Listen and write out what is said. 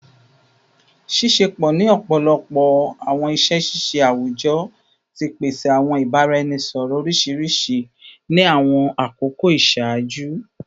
Ṣiṣepọ ni ọpọlọpọ awọn iṣẹ ṣiṣe awujọ ti pese awọn ibaraẹnisọrọ oriṣiriṣi ni awọn akoko iṣaaju